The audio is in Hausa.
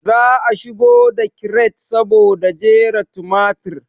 Za a shigo da kiret saboda jera tumatir